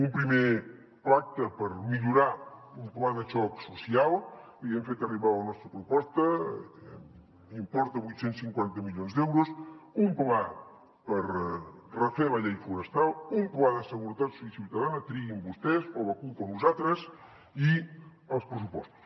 un primer pacte per millorar un pla de xoc social li hem fet arribar la nostra proposta importa vuit cents i cinquanta milions d’euros un pla per refer la llei forestal un pla de seguretat ciutadana triïn vostès o la cup o nosaltres i els pressupostos